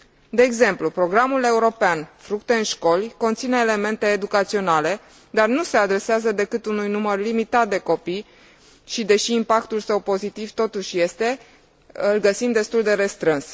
De exemplu, programul european Fructe în școli conține elemente educaționale, dar nu se adresează decât unui număr limitat de copii și, deși impactul său pozitiv totuși este, îl găsim destul de restrâns.